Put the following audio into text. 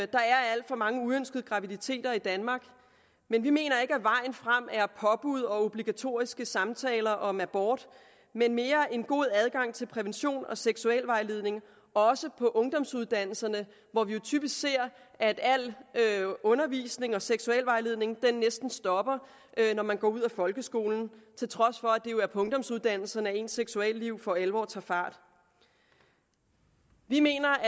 der er alt for mange uønskede graviditeter i danmark men vi mener ikke at vejen frem er påbud og obligatoriske samtaler om abort men mere en god adgang til prævention og seksualvejledning også på ungdomsuddannelserne hvor vi jo typisk ser at al undervisning og seksualvejledning næsten stopper når man går ud af folkeskolen til trods for at det jo er på ungdomsuddannelserne at ens seksualliv for alvor tager fart vi mener